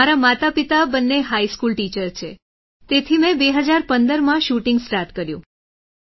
મારા માતાપિતા બંને હાઈ સ્કૂલ ટીચર છે તેથી મેં 2015માં શૂટિંગ સ્ટાર્ટ કર્યું